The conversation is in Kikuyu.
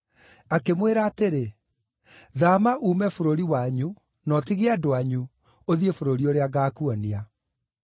Akĩmwĩra atĩrĩ, ‘Thaama uume bũrũri wanyu na ũtige andũ anyu, ũthiĩ bũrũri ũrĩa ngaakuonia.’